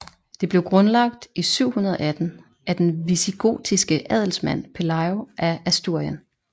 Det blev grundlagt i 718 af den visigotiske adelsmand Pelayo af Asturien